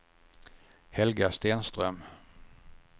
Helga Stenström